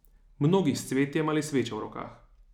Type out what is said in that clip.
Mnogi s cvetjem ali svečo v rokah.